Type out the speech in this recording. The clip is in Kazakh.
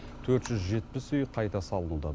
төрт жүз жетпіс үй қайта салынуда